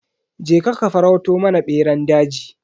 Je ka ka farauto mana beran daji.